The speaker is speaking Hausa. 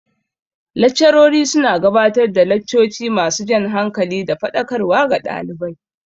Laccarori su na gabatar da laccoci ma su jan hankali da faɗakarwa ga ɗalibai